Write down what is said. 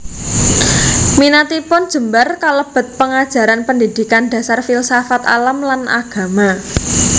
Minatipun jembar kalebet pengajaran pendidikan dasar filsafat alam lan agama